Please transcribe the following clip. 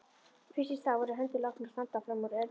Fyrst í stað voru hendur látnar standa fram úr ermum.